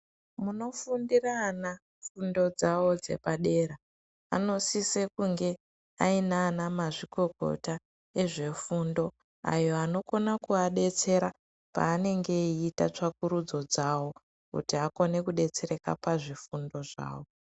Munofundire ana fundo dzavo dzepadera anosise kunge aina mazvikokota ezvefundo ayo anokona kuwadetsera panenge eiita tsvakurudzo dzavo kuti akone kudetsereka pazvifundo zvavo.